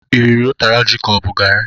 Iriri ụtara ji ka ọ bụ garri?